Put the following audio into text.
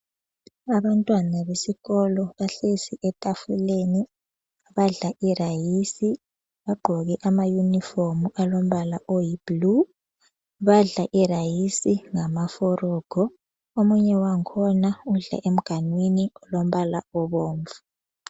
Abantwana besikolo bahlezi etafuleni. Badla i rayisi. Bagqoke amayunifomu alombala oyibhulu. Badla irayisi ngama forogo. Omunye wangikhona udla emganwinwi olombala obomvu.